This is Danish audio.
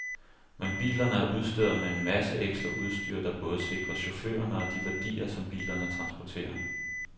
Men bilerne er udstyret med en masse ekstra udstyr, der både sikrer chaufførerne og de værdier, som bilerne transporterer.